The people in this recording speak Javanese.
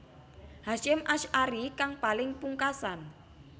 Hasyim Asy arie kang paling pungkasan